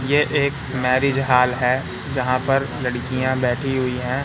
ये एक marriage hall है जहां पर लड़कियां बैठी हुई है।